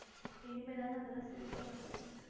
இனிமே தாங்க அதெல்லாம் சரி பண்ணணும்